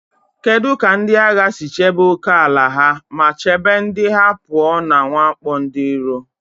Kedu ka ndị agha si chebe ókèala ha ma chebe ndị ha pụọ na mwakpo ndị iro?